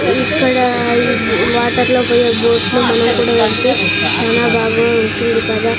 ఇక్కడ ఈ వాటర్ లో పొయ్యే బోట్ లో మనం కూడా వెల్తే చానా బాగా ఉంటుంది కదా.